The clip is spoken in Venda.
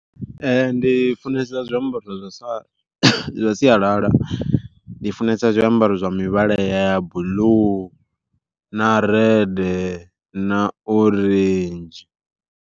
Ee ndi funesa zwiambaro zwa sa zwa sialala ndi funesa zwiambaro zwa mivhala ya buḽuu na rede na orenzhi.